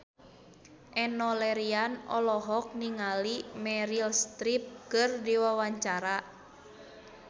Enno Lerian olohok ningali Meryl Streep keur diwawancara